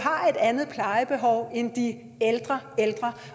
har et andet plejebehov end de ældre ældre